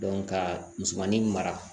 ka musomanin mara